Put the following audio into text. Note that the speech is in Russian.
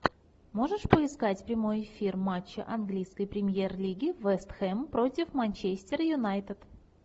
можешь поискать прямой эфир матча английской премьер лиги вест хэм против манчестер юнайтед